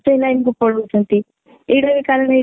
ସେଇ line କୁ ପଲଉଛନ୍ତି ଏଇଟା ହି କାରଣ ହେଇଥାଇ